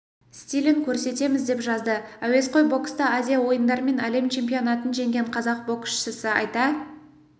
стилін көрсетеміз деп жазды әуесқой бокста азия ойындары мен әлем чемпионатын жеңген қазақ боксшысы айта